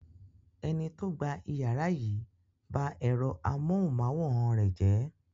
Ẹni tó gba ìyàrá yìí ba ẹ̀rọ amóhùmáwòhán rẹ̀ jẹ́.